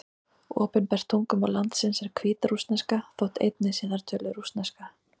Opinbert tungumál landsins er hvítrússneska, þótt einnig sé þar töluð rússneska.